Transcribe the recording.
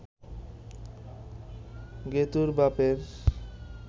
গেতুঁর বাপের